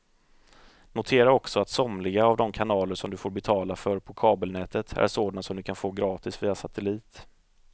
Notera också att somliga av de kanaler som du får betala för på kabelnätet är sådana som du kan få gratis via satellit.